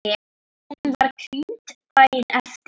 Hún var krýnd daginn eftir.